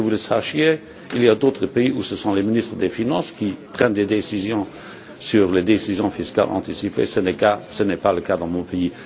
Sachez qu'il y a d'autres pays où ce sont les ministres des finances qui prennent des décisions sur les décisions fiscales anticipées. Ce n'est pas le cas dans mon pays.